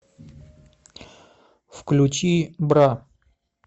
включи бра